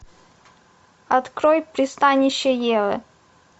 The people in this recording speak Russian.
открой пристанище евы